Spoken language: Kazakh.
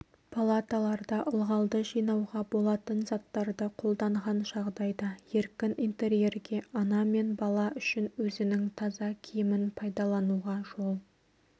палаталарда ылғалды жинауға болатын заттарды қолданған жағдайда еркін интерьерге ана мен бала үшін өзінің таза киімін пайдалануға жол